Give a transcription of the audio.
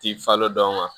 Ti falen dɔn